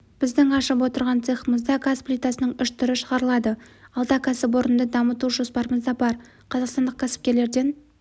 біздің ашып отырған цехымызда газ плитасының үш түрі шығарылады алда кәсіпорынды дамыту жоспарымызда бар қазақстандық кәсіпкерлерден